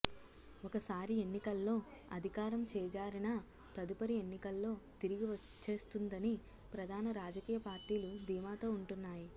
ఒకసారి ఎన్నికల్లో అధికారం చేజారినా తదుపరి ఎన్నికల్లో తిరిగి వచ్చేస్తుందని ప్రధాన రాజకీయ పార్టీలు ధీమాతో వుంటున్నాయి